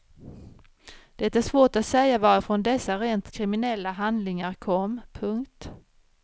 Det är svårt att säga varifrån dessa rent kriminella handlingar kom. punkt